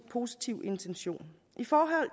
positiv intention i forhold